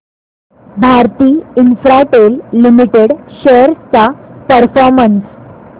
Bharti Infratel limited shares चा performance